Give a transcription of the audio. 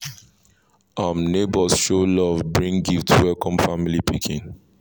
um neighbors show love bring gifts welcome family pikin